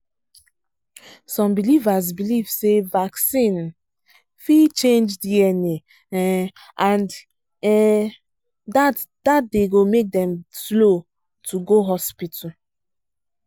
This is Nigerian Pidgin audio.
some believers believe say vaccine um fit change dna um and um that dey make dem slow to go hospital